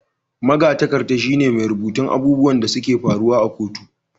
Magatakarda shi ne mai rubutun abubuwan da su ke faruwa a kotu